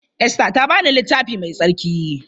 Esther ta ba ni Littafi Mai Tsarki.